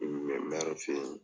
mɛri fɛ yen.